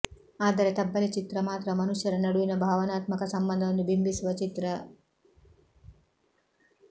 ಆದರೆ ತಬ್ಬಲಿ ಚಿತ್ರ ಮಾತ್ರ ಮನುಷ್ಯರ ನಡುವಿನ ಭಾವನಾತ್ಮಕ ಸಂಬಂಧವನ್ನು ಬಿಂಬಿಸುವ ಚಿತ್ರ